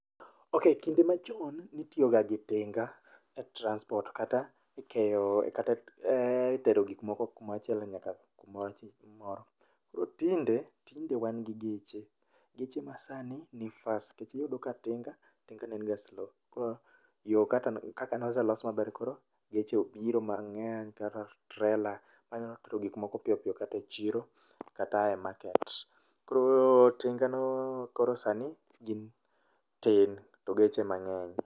Okay kinde machon nitiyo ga gi tinga e transport kata ikeyo, kata itero gik moko kumachielo nyaka kumoro. To tinde, tinde wan gi geche, geche masani ni fast nikech iyudo ka tinga, tinga ne en ga slow. Yo kaka noselos maber koro geche obiro mang'eng' kaka trela ma nyalo tero gik moko piyopiyo kata e chiro kata e market. Koro tinga no koro sani gi tin to geche emang'eny.